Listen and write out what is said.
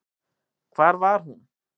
Hvar var hún?